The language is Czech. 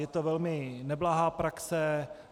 Je to velmi neblahá praxe.